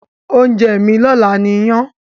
Ounje mí lọ́la ni iyán